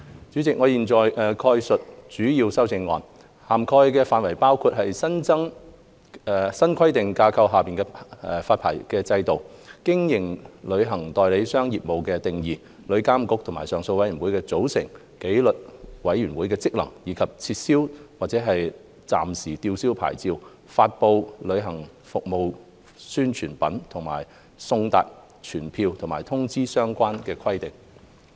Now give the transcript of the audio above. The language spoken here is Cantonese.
主席，我現在概述主要的修正案，涵蓋範疇包括：新規管架構下的牌照制度、經營旅行代理商業務的定義、旅遊業監管局和上訴委員會的組成、紀律委員會的職能，以及撤銷或暫時吊銷牌照、發布旅行服務宣傳品和送達傳票或通知的相關規定。